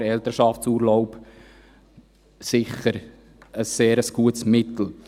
In diesem Sinn ist der Elternschaftsurlaub sicher ein sehr gutes Mittel.